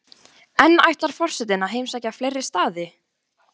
En ætlar forsetinn að heimsækja fleiri staði?